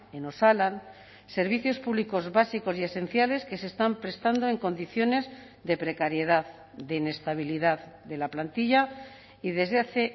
en osalan servicios públicos básicos y esenciales que se están prestando en condiciones de precariedad de inestabilidad de la plantilla y desde hace